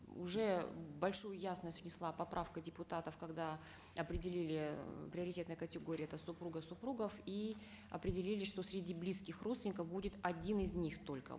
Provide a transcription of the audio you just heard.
уже большую ясность внесла поправка депутатов когда определили э приоритетные категории это супруга супругов и определили что среди близких родственников будет один из них только